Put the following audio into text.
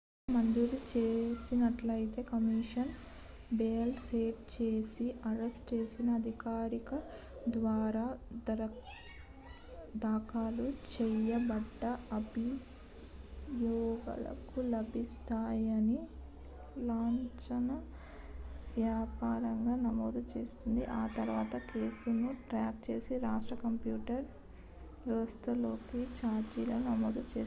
ఒకవేళ మంజూరు చేసినట్లయితే కమిషనర్ బెయిల్ సెట్ చేసి అరెస్ట్ చేసిన అధికారి ద్వారా దాఖలు చేయబడ్డ అభియోగాలను లాంఛనప్రాయంగా లాంఛనప్రాయంగా నమోదు చేస్తుంది ఆ తర్వాత కేసు ను ట్రాక్ చేసే రాష్ట్ర కంప్యూటర్ వ్యవస్థలోకి ఛార్జీలను నమోదు చేస్తున్నారు